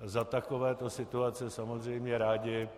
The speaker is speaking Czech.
Za takovéto situace samozřejmě rádi